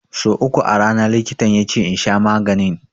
So uku a rana likitan yace in sha maganin.